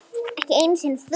Ekki einu sinni þú.